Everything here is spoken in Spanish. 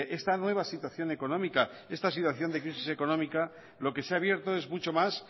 esta nueva situación económica esta situación de crisis económica lo que se ha abierto es mucho más